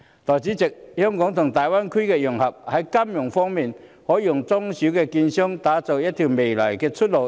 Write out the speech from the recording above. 代理主席，香港和大灣區融合，在金融方面，應可為中小券商的未來打出一條出路。